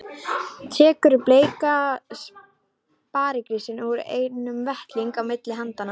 Tekur bleikan sparigrís úr einni og veltir á milli handanna.